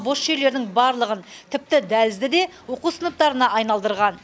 бос жерлердің барлығын тіпті дәлізді де оқу сыныптарына айналдырған